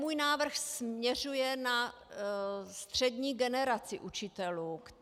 Můj návrh směřuje na střední generaci učitelů.